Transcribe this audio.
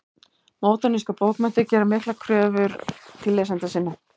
Módernískar bókmenntir gera miklar kröfur til lesenda sinna.